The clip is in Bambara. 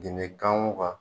Diinɛ ganmuwa.